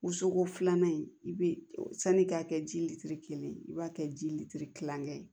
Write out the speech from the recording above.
Wosoko filanan in i bɛ sani i k'a kɛ ji litiri kelen ye i b'a kɛ ji litiri kilankɛ ye